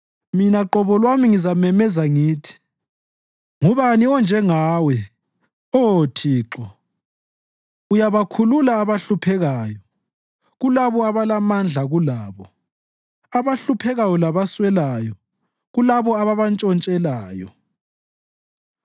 Mina qobo lwami ngizamemeza ngithi, “Ngubani onjengawe, Oh Thixo? Uyabakhulula abahluphekayo kulabo abalamandla kulabo, abahluphekayo labaswelayo kulabo ababantshontshelayo.”